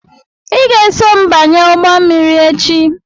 Ị ga-eso m banye ụgbọ mmiri echi!